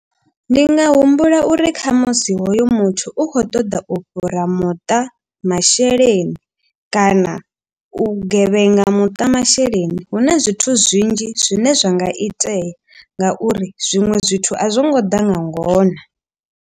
Ndi nga humbula uri khamusi hoyo muthu u khou ṱoḓa u fhura muṱa masheleni. Kana u gevhenga muṱa masheleni huna zwithu zwinzhi zwine zwa nga itea. Ngauri zwiṅwe zwithu a zwo ngo ḓa nga ngona.